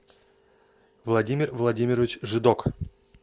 владимир владимирович жидок